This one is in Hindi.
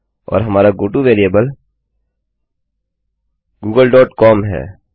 और हमारा goto variable Google dot com है